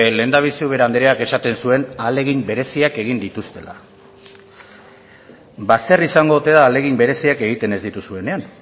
lehendabizi ubera andreak esaten zuen ahalegin bereziak egin dituztela ba zer izango ote da ahalegin bereziak egiten ez dituzuenean